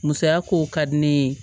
Musaya kow ka di ne ye